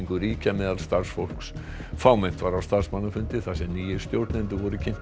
ríkja meðal starfsfólks fámennt var á starfsmannafundi þar sem nýir stjórnendur voru kynntir